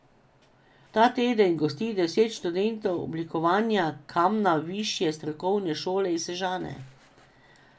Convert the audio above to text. Ta teden gosti deset študentov oblikovanja kamna Višje strokovne šole iz Sežane.